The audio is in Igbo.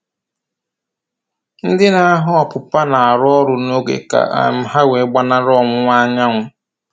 Ndị na-aghọ ọpụpa na-arụ ọrụ n'oge ka um ha wee gbanarị ọwụwa anyanwụ